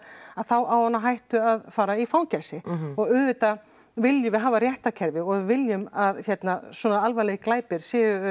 þá á hann á hættu að fara í fangelsi og auðvitað viljum við hafa réttarkerfi og við viljum að svona alvarlegir glæpir